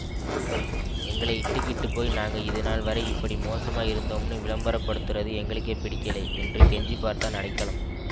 எங்களை இட்டுக்கிட்டுப் போய் நாங்க இதுநாள் வரை இப்படி மோசமா இருந்தோம்னு விளம்பர படுத்தறது எங்களுக்கே பிடிக்கலே என்று கெஞ்சிப் பார்த்தான் அடைக்கலம்